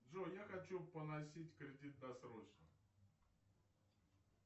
джой я хочу погасить кредит досрочно